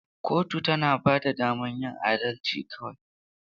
Kotu tana ba da damar yin adalci kawai.